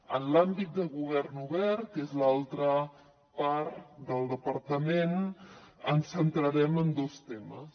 en l’àmbit de govern obert que és l’altra part del departament ens centrarem en dos temes